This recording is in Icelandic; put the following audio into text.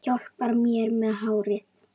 Hjálpar mér með hárið!